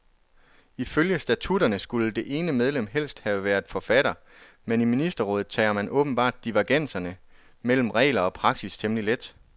Ifølge statutterne skulle det ene medlem helst have været forfatter, men i ministerrådet tager man åbenbart divergenser mellem regler og praksis temmelig let.